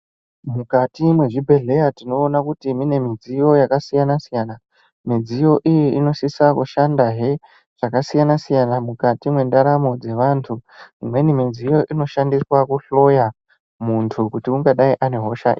Mukati mwezvibhedhleya tinoona kuti mune midziyo yakasiyana siyana. Midziyo iyi inosisa kushandahe zvakasiyana siyana mwukati mwendaramo dzevantu. Imweni midziyo inoshandiswa kuhloya muntu kuti ungadai ane hosha..